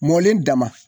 Mɔlen dama